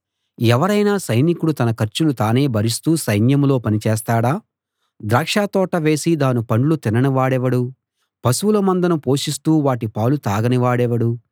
ఎవరైనా సైనికుడు తన ఖర్చులు తానే భరిస్తూ సైన్యంలో పని చేస్తాడా ద్రాక్షతోట వేసి దాని పండ్లు తినని వాడెవడు పశువుల మందను పోషిస్తూ వాటి పాలు తాగని వాడెవడు